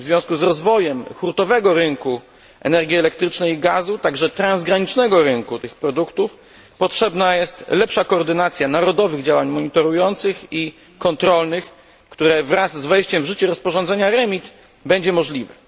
W związku z rozwojem hurtowego rynku energii elektrycznej i gazu, także transgranicznego rynku tych produktów, potrzebna jest lepsza koordynacja narodowych działań monitorujących i kontrolnych, które wraz z wejściem w życie rozporządzenia REMIT będzie możliwe.